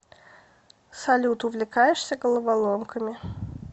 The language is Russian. салют увлекаешься головоломками